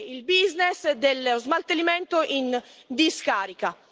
il business dello smaltimento in discarica.